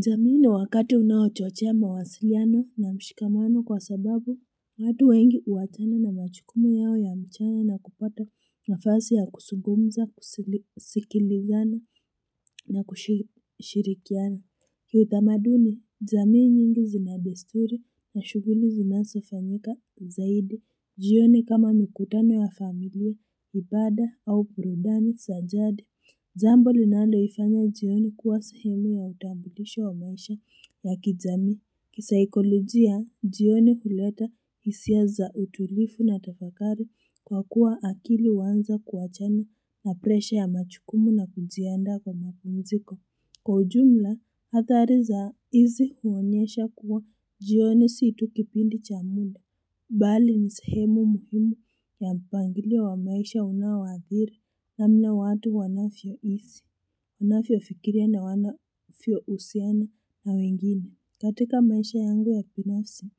Jamii ni wakati unaochochea mawasiliano na mshikamano kwa sababu watu wengi huachana na majukumu yao ya mchana na kupata nafasi ya kuzungumza, kusikilizana na kushirikiana. Kiutamaduni, jamii nyingi zina desturi na shughuli zinazofanyika zaidi. Jioni kama mikutano ya familia, ibada au burudani za jadi. Jambo linalo ifanya jioni kuwa sehemu ya utambulisho wa maisha ya kijamii. Kisaikolojia, jioni huleta hisia za utulivu na tafakari kwa kuwa akili huanza kuachana na presha ya majukumu na kujiandaa kwa mapumziko. Kwa ujumla, athari za hizi huonyesha kuwa jioni si tu kipindi cha muda. Bali ni sehemu muhimu ya mpangilio wa maisha unaoathiri namna watu wanavyoishi. Wanavyo fikiria na wanavyo husiana na wengine. Katika maisha yangu ya binafsi,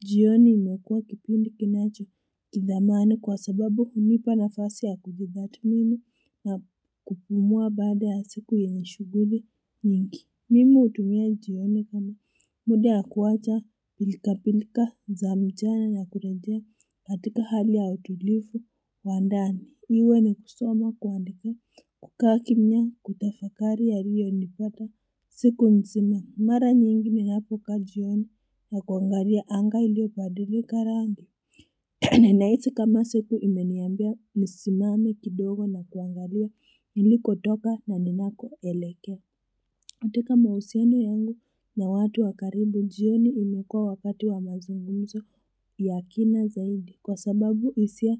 jioni imekua kipindi kinacho kithamani kwa sababu hunipa nafasi ya kujitathmini na kupumua baada ya siku yenye shughuli nyingi Mim hutumia jioni kama muda ya kuacha pilkapilka za mchana na kurejea katika hali ya utulivu wa ndani. Iwe ni kusoma, kuandika, kukaa kimya, kutafakari yaliyonipata siku nzima. Mara nyingi ninapo kaa jioni na kuangalia anga iliobadilika rangi Ninahisi kama siku imeniambia nisimame kidogo na kuangalia nilikotoka na ninako elekea. Katika mahusiano yangu na watu wa karibu jioni imekua wakati wa mazungumzo zaidi kwa sababu hisia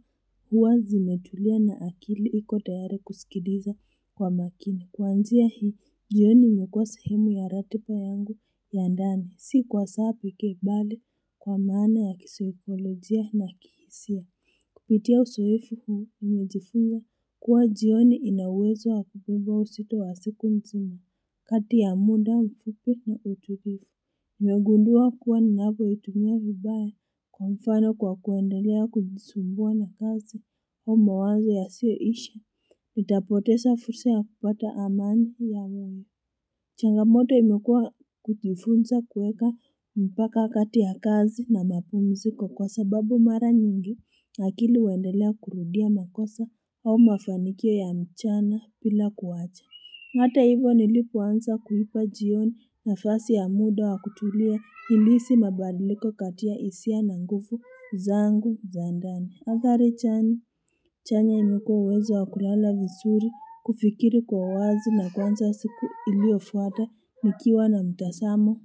huwa zimetulia na akili iko tayari kusikiliza kwa makini kuanzia hii, jioni imekua sehemu ya ratiba yangu ya ndani. Si kwa saa pekee, bali kwa maana ya kisaikolojia na kihisia Kupitia uzoefu huu nimejifunza kuwa jioni ina uwezo wa kupungua uzito wa siku mzima, kati ya muda mfupi na utulivu. Nimegundua kuwa ninapoitumia vibaya, kwa mfano kwa kuendelea kujisumbua na kazi au mawazo yasio isha, Nitapoteza fursa ya kupata amani ya wengi. Changamoto imekua kujifunza kuweka mpaka kati ya kazi na mapumziko kwa kwa sababu mara nyingi akili huendelea kurudia makosa au mafanikio ya mchana bila kuwacha. Na hata hivo nilipoanza kuipa jioni nafasi ya muda wa kutulia nilihisi mabadiliko kati ya hisia na nguvu zangu za ndani. Athari chani, chanya ni kuwa uwezo wa kulala vizuri, kufikiri kwa wazi na kuanza siku iliofuata nikiwa na mtazamo.